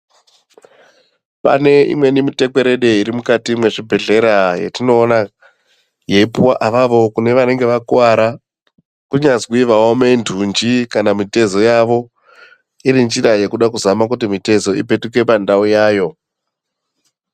Pane imweni mitekwerede iri mukati mwezvibhedhlera yetinoona yeyipuwa avavo kune vanenge vakuwara kunyazwi vaome ndundi kana mutezo yavo iri njira yekude kuzama kuti mitezo ipetuke pandau yayo .